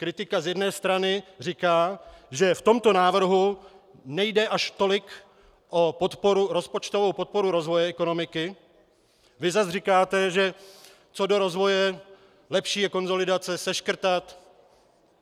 Kritika z jedné strany říká, že v tomto návrhu nejde až tolik o rozpočtovou podporu rozvoje ekonomiky, vy zase říkáte, že co do rozvoje lepší je konsolidace, seškrtat.